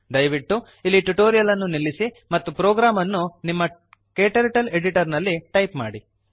ದಯವಿಟ್ಟು ಇಲ್ಲಿ ಟ್ಯುಟೋರಿಯಲ್ ಅನ್ನು ನಿಲ್ಲಿಸಿ ಮತ್ತು ಪ್ರೋಗ್ರಾಮ್ ಅನ್ನು ನಿಮ್ಮ ಕ್ಟರ್ಟಲ್ ಎಡಿಟರ್ ನಲ್ಲಿ ಟೈಪ್ ಮಾಡಿ